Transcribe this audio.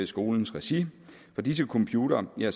skolens regi fra disse computere er